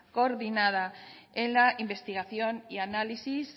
coordinada en la investigación y análisis